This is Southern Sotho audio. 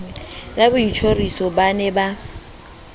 ya boitjhoriso ba ne ba